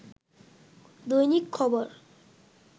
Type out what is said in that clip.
দৈনিক খবর